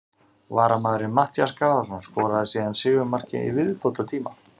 Varamaðurinn Matthías Garðarsson skoraði síðan sigurmarkið í viðbótartíma.